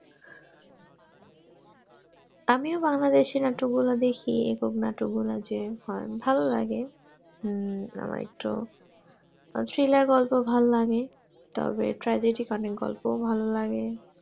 আমিও বাংলাদেশ এর নাটক গুলা দেখি এবং নাটক গুলা যে হয়ে বেশ ভালো লাগে হম আমার একটু thriller গল্প ভালো লাগে তবে tragic অনেক গল্পও ভালো লাগে